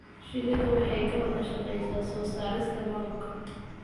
Shinnidu waxay ka wada shaqaysaa soo saarista malabka.